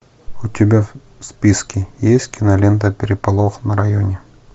у тебя в списке есть кинолента переполох на районе